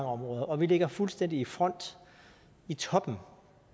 områder og vi ligger fuldstændig i front i toppen